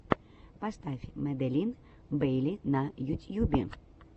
поставь маделин бейли на ютьюбе